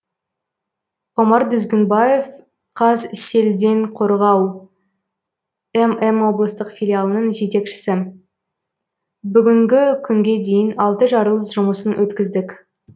омар дүзгінбаев қазселденқорғау мм облыстық филиалының жетекшісі бүгінгі күнге дейін алты жарылыс жұмысын өткіздік